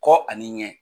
Kɔ ani ɲɛ